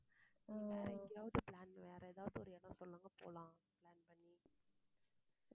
வேற எங்கேயாவது plan வேற எதாவது ஒரு இடம் சொல்லுங்க போலாம் plan பண்ணி